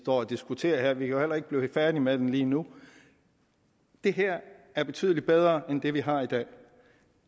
og diskuterer her vi kan jo heller ikke blive færdige med det lige nu det her er betydelig bedre end det vi har i dag